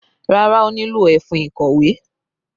Rárá, ó nílò ẹfun ìkọ̀wé.